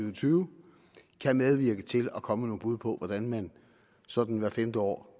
og tyve kan medvirke til at komme med nogle bud på hvordan man sådan hvert femte år